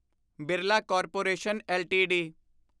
Birla corporation LTD